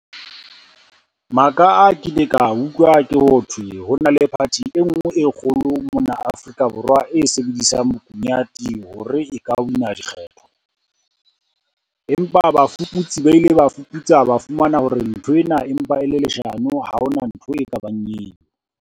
Maka a kileng ka a utlwa ke hothwe ho na le party e nngwe e kgolo mona Afrika Borwa e sebedisang bokunyate hore e ka wina dikgetho. Empa bafuputsi ba ile ba fuputsa ba fumana hore nthwena empa e le leshano, ha hona ntho e ka bang eo.